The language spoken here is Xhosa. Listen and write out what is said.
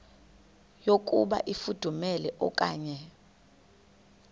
yokuba ifudumele okanye